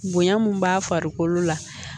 Bonya mun b'a farikolo la